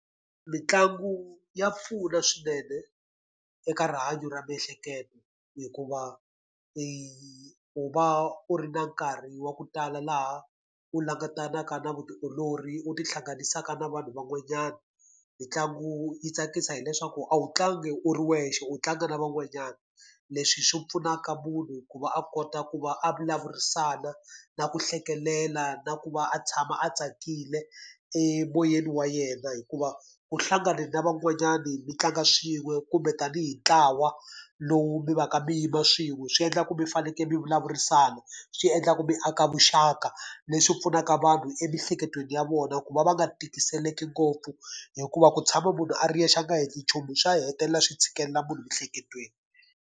Mitlangu ya pfuna swinene eka rihanyo ra miehleketo hikuva u va u ri na nkarhi wa ku tala laha u langutanaka na vutiolori, u ti hlanganisaka na vanhu van'wanyana. Mitlangu yi tsakisa hileswaku a wu tlangi u ri wexe, u tlanga na van'wanyana, leswi swi pfunaka munhu ku va a kota ku va a vulavurisana, na ku hlekelela, na ku va a tshama a tsakile emoyeni wa yena hikuva u hlangane na van'wanyani mi tlanga swin'we, kumbe tanihi ntlawa lowu mi va ka mi yima swin'we. Swi endla ku mi fanekele mi vulavurisana, swi endla ku mi aka vuxaka, leswi pfunaka vanhu emiehleketweni ya vona, ku va va nga tikiseleki ngopfu hikuva ku tshama munhu a ri yexe a nga heti nchumu swa hetelela swi tshikelela munhu emiehleketweni.